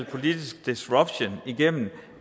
politisk disruption igennem